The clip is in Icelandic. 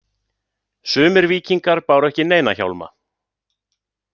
Sumir víkingar báru ekki neina hjálma.